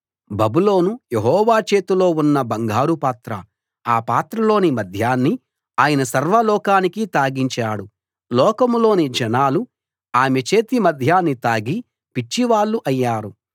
బబులోను యెహోవా చేతిలో ఉన్న బంగారు పాత్ర ఆ పాత్రలోని మద్యాన్ని ఆయన సర్వలోకానికీ తాగించాడు లోకంలోని జనాలు ఆమె చేతి మద్యాన్ని తాగి పిచ్చివాళ్ళు అయ్యారు